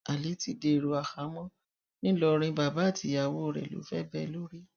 ali ti dèrò àhámọ ńìlọrin bàbá àti ìyàwó rẹ ló fẹ bẹ lórí